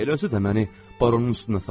Elə özü də məni baronun üstünə saldı.